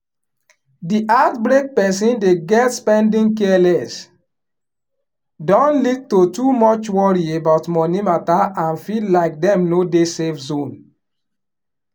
di heartbreak person dey get spending careless don lead to too much worry about money matter and feel like dem no dey safe zone